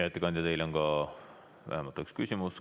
Hea ettekandja, teile on ka vähemalt üks küsimus.